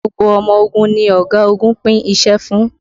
Gbogbo ọmọ ogun ni ọ̀gagun pín iṣẹ́ fún